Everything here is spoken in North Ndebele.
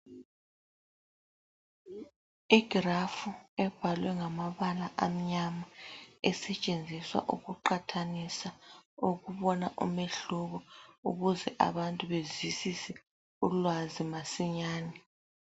Igrafu ebhalwe ngamabala amnyama esetshenziswa ukuqathanisa ukubona umehluko ukuze abantu bezwisisise ulwazi masinya.